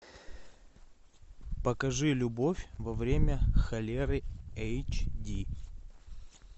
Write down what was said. покажи любовь во время холеры эйч ди